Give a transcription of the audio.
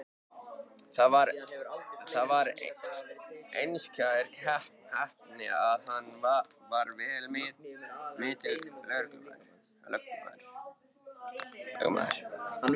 Það var einskær heppni að hann varð vel metinn lögmaður.